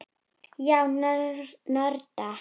Já, nörda.